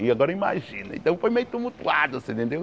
E agora imagine, então foi meio tumultuado, você entendeu?